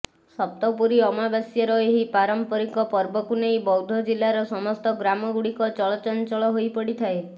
ସପ୍ତପୁରୀ ଅମାବାସ୍ୟାର ଏହି ପାରମ୍ପରିକ ପର୍ବକୁ ନେଇ ବୌଦ୍ଧ ଜିଲାର ସମସ୍ତ ଗ୍ରାମ ଗୁଡିକ ଚଳ ଚଞ୍ଚଳ ହୋଇପଡିଥାଏ